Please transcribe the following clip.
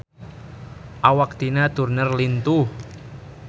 Awak Tina Turner lintuh